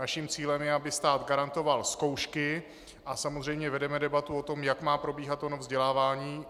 Naším cílem je, aby stát garantoval zkoušky, a samozřejmě vedeme debatu o tom, jak má probíhat ono vzdělávání.